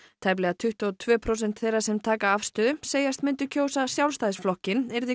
tæplega tuttugu og tvö prósent þeirra sem taka afstöðu segjast myndu kjósa Sjálfstæðisflokkinn yrði